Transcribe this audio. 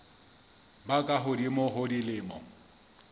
ba ka hodimo ho dilemo